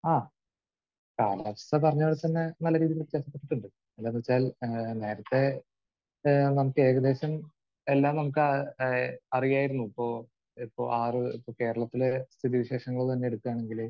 ആഹ്. കാലാവസ്ഥ പറഞ്ഞത് പോലെ തന്നെ നല്ല രീതിയിൽ വ്യത്യാസപ്പെട്ടിട്ടുണ്ട്. എന്താണെന്ന് വെച്ചാൽ നേരത്തെ ഏഹ് നമുക്ക് ഏകദേശം എല്ലാം നമുക്ക് ഏഹ് അറിയായിരുന്നു. ഇപ്പോൾ ആറ്...കേരളത്തിലെ സ്ഥിതിവിശേഷങ്ങൾ തന്നെ എടുക്കുകയാണെങ്കിൽ